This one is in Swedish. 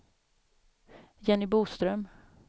Jenny Boström